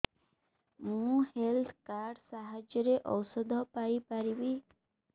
ମୁଁ health card ସାହାଯ୍ୟରେ ଔଷଧ ପାଇ ପାରିବି